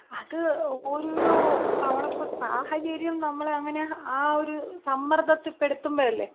അത് ഓരോരോ തവണത്തെ സാഹചര്യം നമ്മളെ അങ്ങനെ ആ ഒരു സമ്മർദ്ദത്തിൽപെടുത്തുമ്പ അല്ലേ.